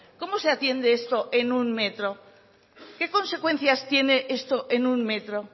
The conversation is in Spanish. cómo se atiende esto en un metro qué consecuencias tiene esto en un metro